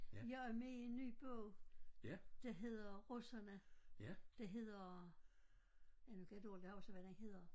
Jeg er med i en ny bog der hedder Russerne der hedder ja nu kan jeg dårligt huske hvad den hedder